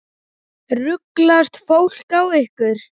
Ruglast fólk á ykkur?